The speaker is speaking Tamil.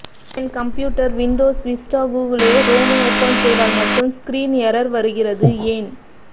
என் computer Windows Vista Google Chrome open செய்தால் மட்டும் ஸ்க்ரீன் எர்ர்ரொர் வருகிறது ஏன்